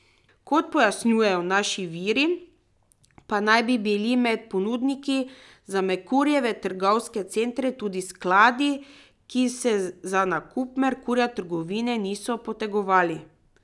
Kot pojasnjujejo naši viri, pa naj bi bili med ponudniki za Merkurjeve trgovske centre tudi skladi, ki se za nakup Merkurja trgovine niso potegovali.